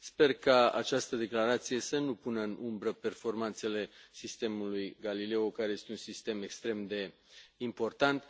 Sper ca această declarație să nu pună în umbră performanțele sistemului Galileo, care este un sistem extrem de important.